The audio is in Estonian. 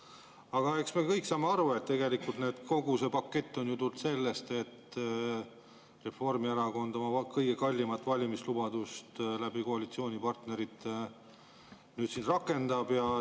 Aga eks me kõik saame aru, et tegelikult kogu see pakett on ju tulnud sellest, et Reformierakond oma kõige kallimat valimislubadust koalitsioonipartnerite kaudu nüüd rakendab.